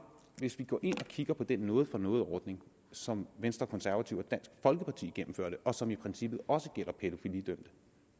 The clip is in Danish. hvis vi går ind og kigger på den noget for noget ordning som venstre konservative og dansk folkeparti gennemførte og som i princippet også gælder pædofilidømte